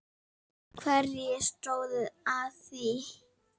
Hverjir stóðu að því?